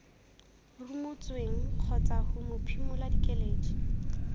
rumotsweng kgotsa ho mophimola keledi